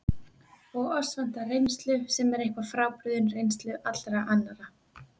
Og oss vantar reynslu, sem er eitthvað frábrugðin reynslu allra annarra.